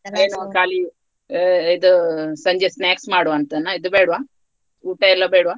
ಆಹ್ ಇದು ಸಂಜೆ snacks ಮಾಡುವ ಅಂತನ ಇದು ಬೇಡ್ವ ಊಟಯೆಲ್ಲ ಬೇಡ್ವ.